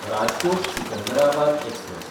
राजकोट–सिकंदराबाद express